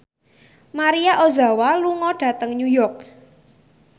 Maria Ozawa lunga dhateng New York